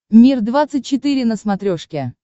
мир двадцать четыре на смотрешке